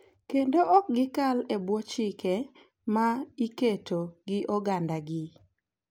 Kendo ok gikal e bwo chike ma iketo gi oganda gi.